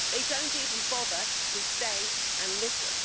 now. They don't even bother to stay and listen.